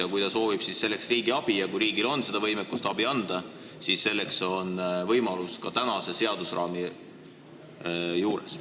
Ja kui ta soovib riigi abi ja riigil on võimekust abi anda, siis selleks on võimalused ka tänase seadusraami piires.